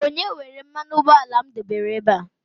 onye were mmanụ m debere ebe a?